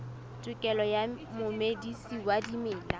tokelo ya momedisi wa dimela